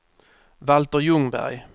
Valter Ljungberg